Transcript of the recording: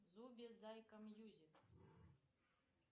зуби зайка мьюзик